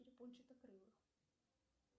перепончатокрылых